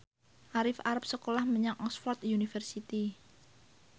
Arif arep sekolah menyang Oxford university